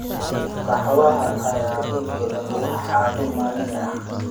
Qaxwaha ayaa dad badan u ah caado maalinle ah.